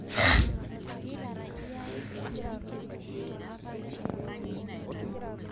Kerewari enkumoi elelero tenkaraki emodai enye